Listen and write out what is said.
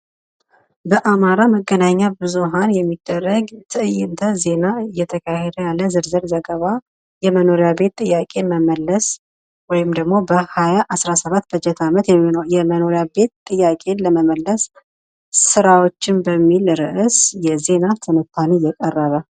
ለአማራ ብዙሃን መገናኛ ት እይንተ ዜና እየተካሄደ ያለ ዝርዝር ዘገባ የመኖሪያ ቤት ጥያቀን ለመመልሰ ወይም ደግሞ በ2017 በጀት አየመኖሪያ ቤት ጥያቀን ለመመልሰ ስራዎችን በሚል ርዕስ የዜና ትንታኔን የሚያሳይ ምስል።